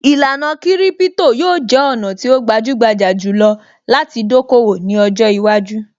Īlànà kiripito yóò jẹ́ ọ̀nà tí ó gbajúgbajà jù lọ láti dókòwò ní ọjọ́ iwájú